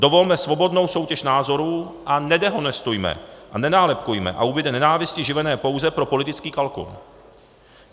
Dovolme svobodnou soutěž názorů a nedehonestujme a nenálepkujme, a ubude nenávisti živené pouze pro politický kalkul.